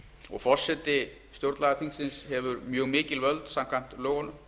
og forseti stjórnlagaþingsins hefur mjög mikil völd samkvæmt lögunum